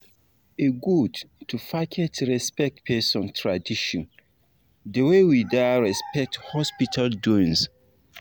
e good to package respect person tradition d way we da respect hospital doins